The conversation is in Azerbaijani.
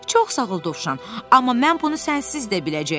Çox sağ ol Dovşan, amma mən bunu sənsiz də biləcəyəm.